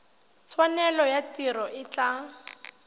tshwanelo ya tiro e tla